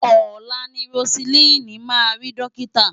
Ọ̀la ni Roseline máa rí dọ́kítà.